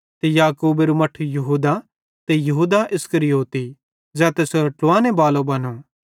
ते याकूबेरू मट्ठू यहूदा ते यहूदा इस्करियोती ज़ै तैसेरो ट्लावाने बालो बनो